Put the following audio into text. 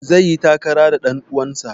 Zai yi takara da ɗan uwansa.